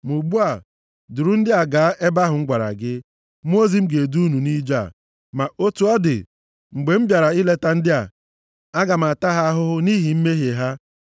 Ma ugbu a, duru ndị a gaa ebe ahụ m gwara gị. Mmụọ ozi m ga-edu unu nʼije a. Ma otu ọ dị, mgbe m bịara ileta ndị a, aga m ata ha ahụhụ nʼihi mmehie ha.”